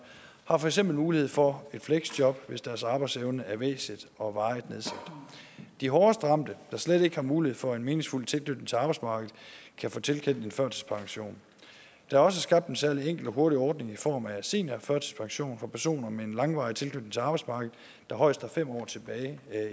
har for eksempel mulighed for et fleksjob hvis deres arbejdsevne er væsentligt og varigt nedsat de hårdest ramte der slet ikke har mulighed for en meningsfuld tilknytning til arbejdsmarkedet kan få tilkendt en førtidspension der er også skabt en særlig enkel og hurtig ordning i form af seniorførtidspension for personer med en langvarig tilknytning til arbejdsmarkedet der højst har fem år tilbage